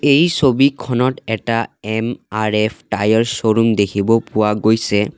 এই ছবিখনত এটা এম_আৰ_এফ টায়াৰ শ্ব'ৰুম দেখিব পোৱা গৈছে।